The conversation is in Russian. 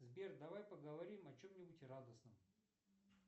сбер давай поговорим о чем нибудь радостном